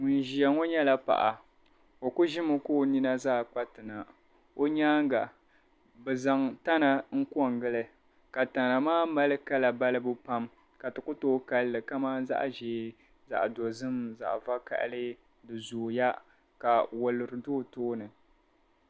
Ŋun ʒia ŋɔ nyɛla paɣa. O ku ʒimi ka o nina zaa kpa ti na. o nyaaŋga bɛ zaŋ tana n-kɔŋgili ka tana maa mali kala balibu pam ka ti ku tooi kali li kamani zaɣ' ʒee zaɣ' dozim zaɣ' vakahili di zooya ka woluri do o tooni.